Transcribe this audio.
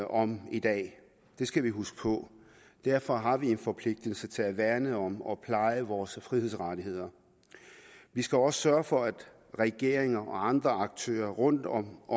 om i dag det skal vi huske på derfor har vi en forpligtelse til at værne om og pleje vores frihedsrettigheder vi skal også sørge for at regeringer og andre aktører rundtom